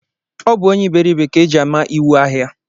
Ọ bụ ónyé iberibe ka e ji ama íwú ahịa